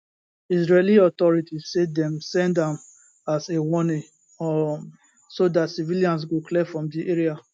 israeli authorities say dem send am as a warning um so dat civilians go clear from di areas